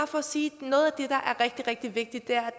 for at sige at rigtig rigtig vigtigt er